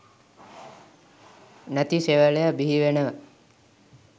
නැති සෙවලයො බිහිවෙනවා.